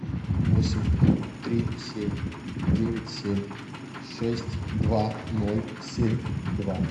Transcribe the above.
восемь три семь девять семь шесть два ноль семь два